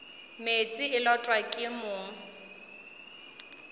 meetse e lotwa ke mong